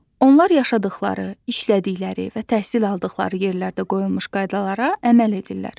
Onlar yaşadıqları, işlədikləri və təhsil aldıqları yerlərdə qoyulmuş qaydalara əməl edirlər.